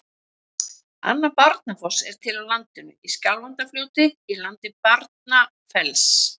Annar Barnafoss er til á landinu, í Skjálfandafljóti í landi Barnafells.